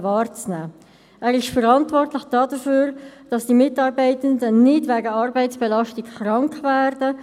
Er ist dafür verantwortlich, dass die Mitarbeitenden nicht wegen Arbeitsbelastung krank werden.